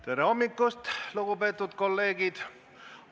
Tere hommikust, lugupeetud kolleegid!